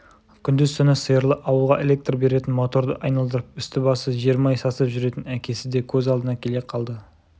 күндіз-түні сиырлы ауылға электр беретін моторды айналдырып үсті-басы жермай сасып жүретін әкесі де көз алдына келе қалды